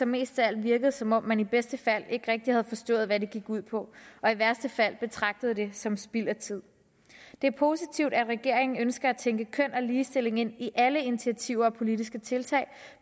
mest af alt virkede som om man i bedste fald ikke rigtig havde forstået hvad det går ud på og i værste fald betragtede det som spild af tid det er positivt at regeringen ønsker at tænke køn og ligestilling ind i alle initiativer og politiske tiltag